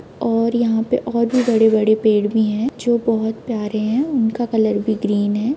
और यहाँ पे और भी बड़े-बड़े पेड़ भी है जो बहुत प्यारे है उनका कलर भी ग्रीन है।